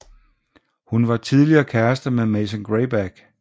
Hun var tidligere kæreste med Mason Grayback